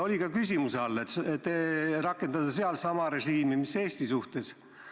Oli ka küsimuse all, et rakendada seal sama režiimi mis Eesti suhtes.